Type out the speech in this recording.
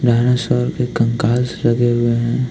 यहां सब एक कंकाल से लगे हुए हैं।